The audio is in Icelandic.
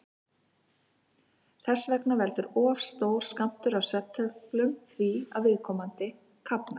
Þess vegna veldur of stór skammtur af svefntöflum því að viðkomandi kafnar.